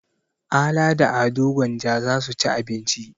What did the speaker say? Ala da Ado Gwanja za su ci abinci.